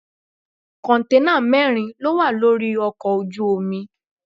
Kọ̀ǹténà mẹ́rin lówà lórí ọkọ̀ ojú omi.